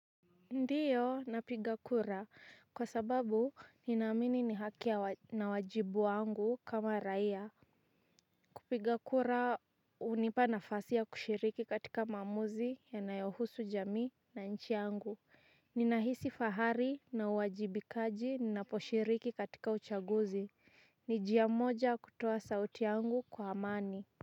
Ndiyo, napiga kura. Kwa sababu, ninaamini ni haki na wajibu wangu kama raia. Kupigakura, unipa nafasi ya kushiriki katika maamuzi yanayohusu jamii na nchi yangu. Ninahisi fahari na uwajibikaji naposhiriki katika uchaguzi. Ni njia moja kutoa sauti yangu kwa amani.